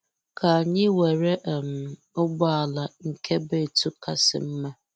K'anyị were um ụgbọ ala, nke bu etu kasị mmá.